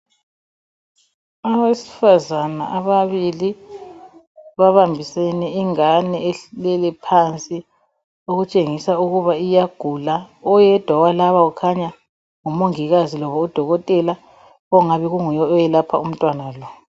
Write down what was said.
Abesifazana ababili, babambisene ingane elele phansi. Okutshengisa ukuba iyagula Oyedwa walaba, ungathi ngumongikazi labodokotela. Onguye owelapha umntwana lo.